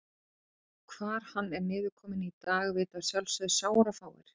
Hvar hann er niðurkominn í dag vita að sjálfsögðu sárafáir.